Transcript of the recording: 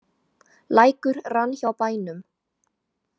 Lækur rann hjá bænum.